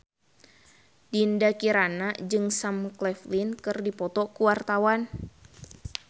Dinda Kirana jeung Sam Claflin keur dipoto ku wartawan